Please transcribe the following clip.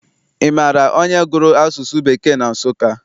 Ị maara onye gụrụ asụsụ Bekee na Nsụka?